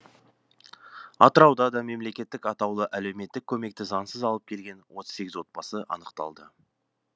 атырауда да мемлекеттік атаулы әлеуметтік көмекті заңсыз алып келген отыз сегіз отбасы анықталды